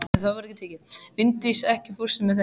Linddís, ekki fórstu með þeim?